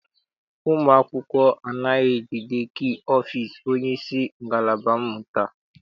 Ụmụ akwụkwọ anaghị ejide kii ọfịịsi onyeisi ngalaba mmụta.